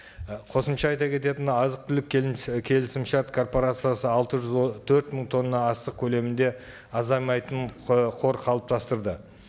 і қосымша айта кететін азық түлік келісімшарт корпорациясы алты жүз төрт мың тонна астық көлемінде азаймайтын қор қалыптастырды